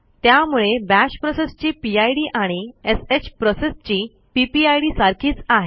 त्यामुळे बाश प्रोसेसची पिड आणि श प्रोसेसची पीपीआयडी सारखीच आहे